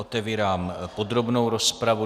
Otevírám podrobnou rozpravu.